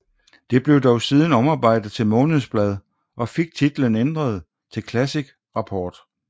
Det blev dog siden omarbejdet til månedsblad og fik titlen ændret til Classic Rapport